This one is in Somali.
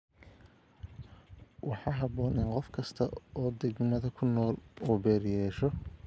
Waxaa habboon in qof kasta oo degmada ku nool uu beer yeesho.